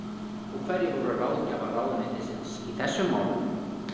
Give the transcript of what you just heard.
Og hverjir voru ráðgjafar ráðuneytisins í þessum málum?